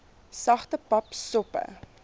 sagte pap soppe